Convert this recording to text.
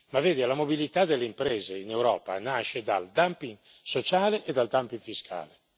Ma la mobilità delle imprese in Europa nasce dal dumping sociale e dal dumping fiscale.